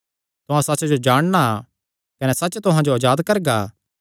तुहां सच्च जो जाणना कने सच्च तुहां जो अजाद करगा